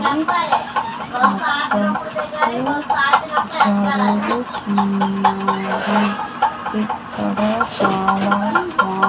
bus జరుగుతున్నది ఇక్కడ చాలా స్వా--